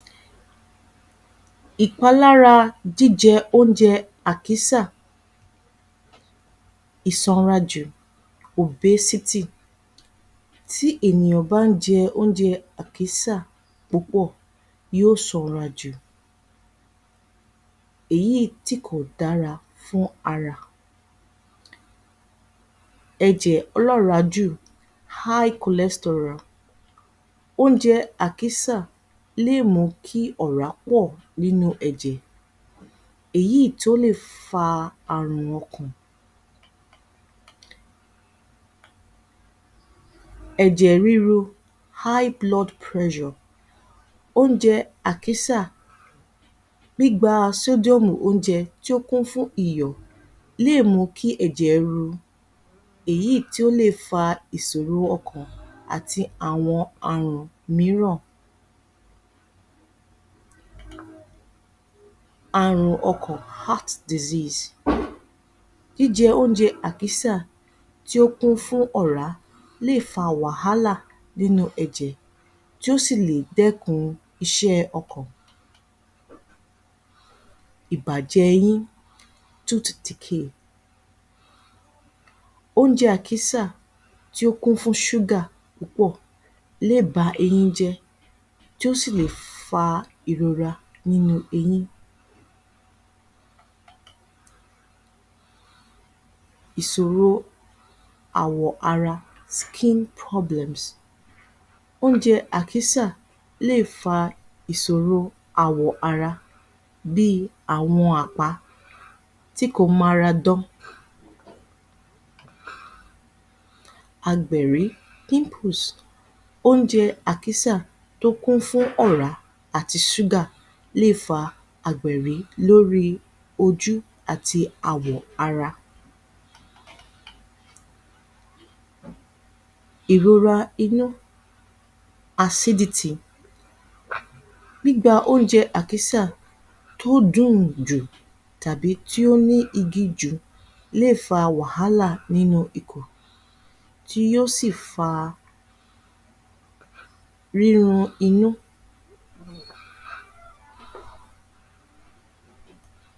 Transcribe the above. Ìpalára jíjẹ oúnjẹ àkísà ìsanrajù tí ènìyàn bá ń jẹ oúnjẹ àkísà púpọ̀ yóò sanra jù. Èyí tí kò dára fún ara. Ẹ̀jẹ̀ olọ́ọ̀rájù oúnjẹ àkísà lè mú kí ọ̀rá pọ̀ nínú ẹ̀jẹ̀. Èyí tó lè fa àrùn ọkàn. Ẹ̀jẹ̀ ríru oúnjẹ àkísà gbígba oúnjẹ tó kún fún iyọ̀ lè mú kí ẹ̀jẹ̀ ru. Èyí tí ó le fa ìsòro ọkàn àti àwọn àrùn mìíràn. Àrùn ọkàn jíjẹ oúnjẹ àkísà tí ó kún fún ọ̀rá lè fa wàhálà nínú ẹ̀jẹ̀ tí ó sì le dẹ́kun iṣẹ́ ọkàn. Ìbàjẹ eyín oúnjẹ àkísà tí ó kún fún pọ̀ lè ba eyín jẹ́ tí ó sìle fa ìrora nínú eyín Ìṣòro àwọ̀ ara oúnjẹ àkísà lè fa ìsòro àwọ̀ ara bí i àwọn àpá tí kò mára dán. Agbẹ̀rí oúnjẹ àkísà tó kún fún ọ̀rá àti ṣúgà lè fa Agbẹ̀rí lóri ojú àti àwọ̀-ara. Ìrora inú gbígba oúnjẹ àkísà tó dùn-ùn jù tàbí tí ó ni igi jù lè fa wàhálà nínú ikùn tí yóò sì fa ríran inú